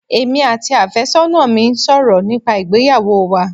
Emi àti àfẹ́sọ́nà mi ń sọ̀rọ̀ nípa ìgbéyàwó wa